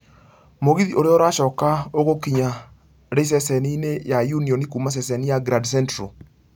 mũgithi ũrĩa ũracoka ũgũkinya ri ceceni-inĩ ya union kuuma ceceni ya grand central